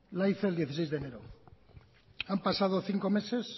la hizo el dieciséis de enero han pasado cinco meses